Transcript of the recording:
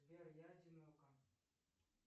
сбер я одинока